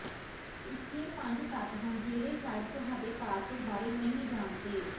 ਇੱਥੇ ਪੰਜ ਤੱਥ ਹਨ ਜਿਹੜੇ ਸ਼ਾਇਦ ਤੁਹਾਡੇ ਪਾਸਪੋਰਟ ਬਾਰੇ ਨਹੀਂ ਜਾਣਦੇ